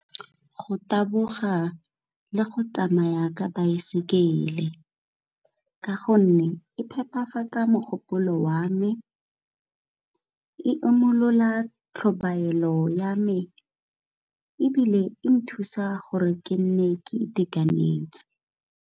Go taboga le go tsamaya ka baesekele, ka gonne e phepafatsa mogopolo wa me, e imolola tlhobaelo ya me ebile e nthusa gore ke nne ke itekanetse.